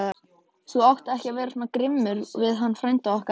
Þú átt ekki vera svona grimmur við hann frænda okkar!